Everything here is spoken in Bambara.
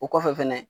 O kɔfɛ fɛnɛ